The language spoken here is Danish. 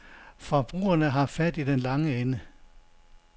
Forbrugerne har fat i den lange ende.